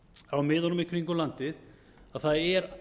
á miðunum í kringum landið að það er